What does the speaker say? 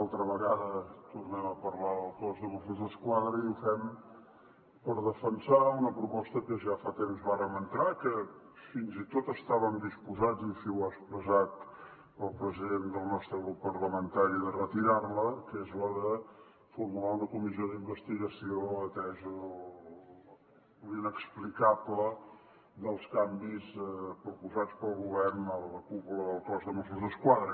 altra vegada tornem a parlar del cos de mossos d’esquadra i ho fem per defensar una proposta que ja fa temps vàrem entrar que fins i tot estàvem disposats i així ho ha expressat el president del nostre grup parlamentari a retirar la que és la de formular una comissió d’investigació atès l’inexplicable dels canvis proposats pel govern en la cúpula del cos de mossos d’esquadra